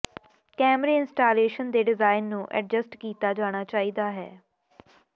ਕੈਮਰੇ ਇੰਸਟਾਲੇਸ਼ਨ ਦੇ ਡਿਜ਼ਾਇਨ ਨੂੰ ਐਡਜਸਟ ਕੀਤਾ ਜਾਣਾ ਚਾਹੀਦਾ ਹੈ